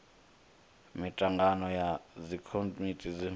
mitangano ya dzikomiti thukhu na